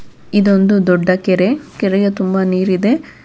ಇದೊಂದು ದೊಡ್ಡ ಕೆರೆ ಕೆರೆಯ ತುಂಬ ನೀರಿದೆ.